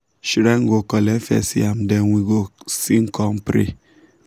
shrine go collect first yam then we go sing come pray.